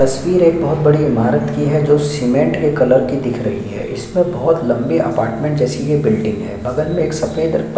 तस्वीर एक बहुत बड़ी इमारत की है जो सीमेंट के कलर की दिख रही है इसमें बहुत लम्बे अपार्टमेंट जैसी ये बिल्डिंग है बगल मे एक सफेद--